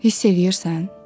Hiss eləyirsən?